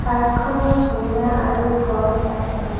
পাৰ্কখনত ঝুলনা আৰু গছ আছে।